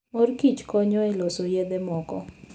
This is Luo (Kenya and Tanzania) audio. Mor Kicho konyo e loso yedhe moko.